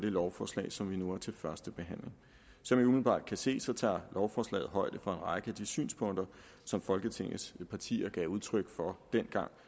det lovforslag som vi nu har til første behandling som man umiddelbart kan se tager lovforslaget højde for en række af de synspunkter som folketingets partier gav udtryk for dengang